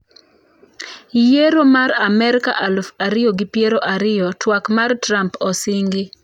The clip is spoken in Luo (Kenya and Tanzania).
Yiero ma amerka aluf ariyo gi piero ariyo: twak mar trump osingi.